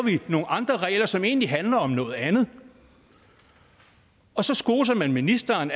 nogle andre regler som egentlig handler om noget andet og så skoser man ministeren